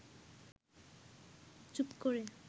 চুপ করে